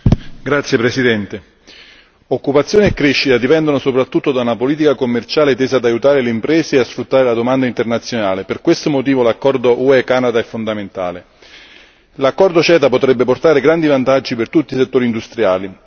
Signor Presidente, onorevoli colleghi, occupazione e crescita dipendono soprattutto da una politica commerciale tesa ad aiutare le imprese e a sfruttare la domanda internazionale. Per questo motivo l'accordo UE Canada è fondamentale. L'accordo CETA potrebbe portare grandi vantaggi per tutti i settori industriali.